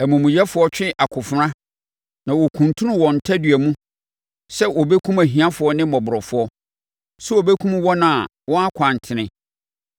Amumuyɛfoɔ twe akofena na wɔkuntunu wɔn tadua mu sɛ wɔbɛkum ahiafoɔ ne mmɔborɔfoɔ, sɛ wɔbɛkum wɔn a wɔn akwan tene.